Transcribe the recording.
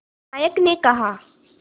नायक ने कहा